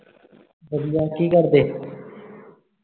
ਵਧੀਆ ਦੀ ਕਰਦੇ